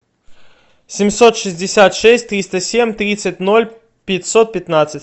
семьсот шестьдесят шесть триста семь тридцать ноль пятьсот пятнадцать